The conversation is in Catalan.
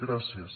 gràcies